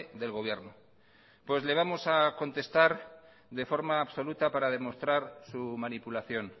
del gobierno pues le vamos a contestar de forma absoluta para demostrar su manipulación